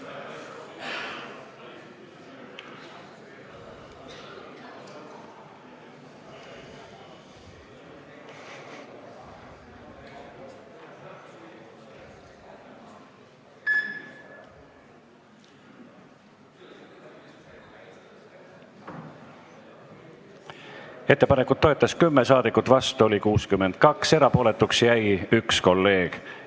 Hääletustulemused Ettepanekut toetas 10 ja vastu oli 62 saadikut, erapooletuks jäi 1 kolleeg.